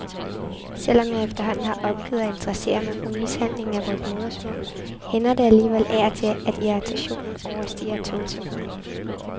Selv om jeg efterhånden har opgivet at interessere mig for mishandlingen af vort modersmål, hænder det alligevel af og til, at irritationen overstiger tålsomheden.